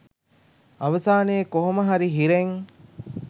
අවසානයේ කොහොම හරි හිරෙන්